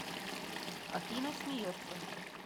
афина смеется